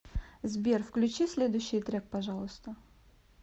сбер включи следующий трек пожалуйста